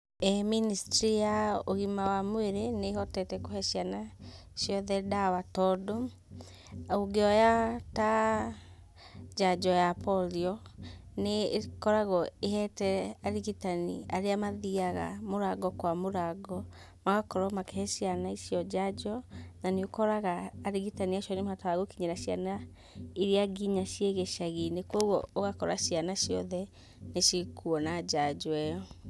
ĩĩ ministry ya ũgima wa mwĩrĩ nĩĩhotete kũhe ciana ciothe ndawa tondũ ũngĩoya ta njanjo ya polio, nĩ ĩkoragwo ĩhete arigitani arĩa mathiaga mũrango kwa mũrango magakorwo makĩhe ciana icio njanjo, na nĩ ũkoraga arigitani acio nĩmahotaga gũkinyĩra ciana iria nginya ciĩ gĩcagi-inĩ koguo ũgakora ciana ciothe nĩcikuona njanjo ĩyo.